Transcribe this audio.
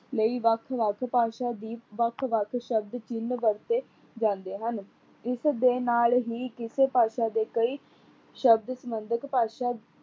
ਲਈ ਵੱਖ-ਵੱਖ ਭਾਸ਼ਾ ਦੀ ਵੱਖ-ਵੱਖ ਸ਼ਬਦ ਚਿੰਨ੍ਹ ਵਰਤੇ ਜਾਂਦੇ ਹਨ। ਇਸਦੇ ਨਾਲ ਹੀ ਕਿਸ ਭਾਸ਼ਾ ਦੇ ਕਈ ਸ਼ਬਦ ਸਬੰਧਤ ਭਾਸ਼ਾ